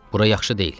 Bura yaxşı deyil.